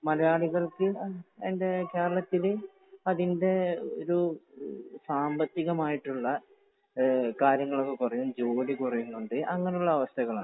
മലയാളികൾക്ക്, കേരളത്തില് അതിൻറെ ഒരു സാമ്പത്തികമായിട്ടുള്ള ഏഹ് കാര്യങ്ങളൊക്കെ കുറയും, ജോലി കുറയുന്നുണ്ട്, അങ്ങനെയുള്ള അവസ്ഥകളാണ്.